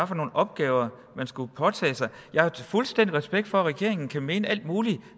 for nogle opgaver man skulle påtage sig jeg har fuldstændig respekt for at regeringen kan mene alt muligt